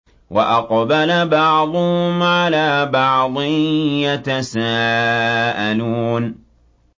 وَأَقْبَلَ بَعْضُهُمْ عَلَىٰ بَعْضٍ يَتَسَاءَلُونَ